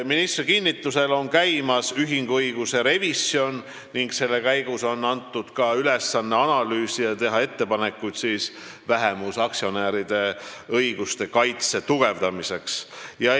Ministri kinnitusel on käimas ühinguõiguse revisjon ning selle käigus on antud ka ülesanne analüüsida vähemusaktsionäride õiguste kaitse tugevdamist ja teha selle kohta ettepanekuid.